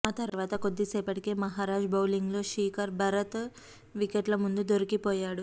ఆ తర్వాత కొద్దిసేపటికే మహరాజ్ బౌలింగ్లో శీకర్ భరత్ వికెట్ల ముందు దొరికిపోయాడు